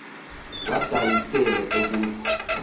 kwa dalasile ukuza